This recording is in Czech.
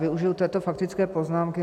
Využiji této faktické poznámky.